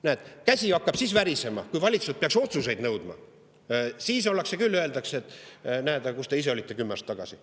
Näed, käsi hakkab värisema siis, kui me peaks valitsuselt otsuseid nõudma, siis öeldakse küll, et aga kus te ise olite kümme aastat tagasi.